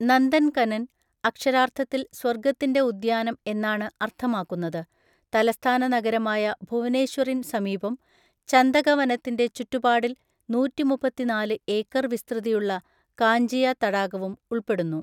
നന്ദൻകനൻ, അക്ഷരാർത്ഥത്തിൽ സ്വർഗ്ഗത്തിന്റെ ഉദ്യാനം എന്നാണ് അർത്ഥമാക്കുന്നത്, തലസ്ഥാന നഗരമായ ഭുവനേശ്വറിന് സമീപം ചന്ദക വനത്തിന്റെ ചുറ്റുപാടിൽ നൂറ്റിമുപ്പത്തിനാല് ഏക്കർ വിസ്തൃതിയുള്ള കാഞ്ചിയ തടാകവും ഉൾപ്പെടുന്നു.